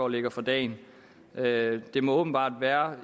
lægger for dagen det det må åbenbart være